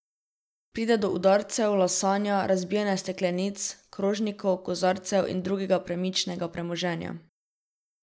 Pride do udarcev, lasanja, razbijanja steklenic, krožnikov, kozarcev in drugega premičnega premoženja ...